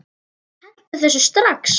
Hentu þessu strax!